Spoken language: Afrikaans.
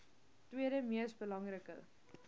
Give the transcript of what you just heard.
tweede mees belangrike